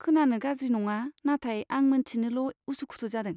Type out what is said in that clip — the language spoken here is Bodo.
खोनानो गाज्रि नङा, नाथाय आं मोन्थिनिल' उसु खुथु जादों।